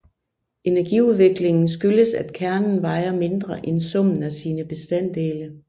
Energiudviklingen skyldes at kernen vejer mindre end summen af sine bestanddele